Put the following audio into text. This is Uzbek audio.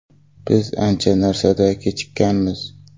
Biz ancha narsada kechikkanmiz.